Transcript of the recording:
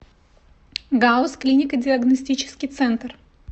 гауз клинико диагностический центр